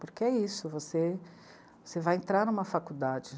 Porque é isso, você, você vai entrar numa faculdade.